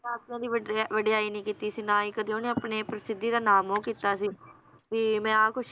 ਦੀ ਵਡਿਆ~ ਵਡਿਆਈ ਨੀ ਕੀਤੀ ਸੀ ਨਾ ਹੀ ਕਦੇ ਓਹਨੇ ਆਪਣੀ ਪ੍ਰਸਿੱਧੀ ਦਾ ਨਾਮ ਉਹ ਕੀਤਾ ਸੀ ਵੀ ਮੈ ਆਹ ਕੁਛ